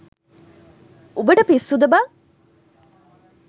උඹට පිස්සුද බං.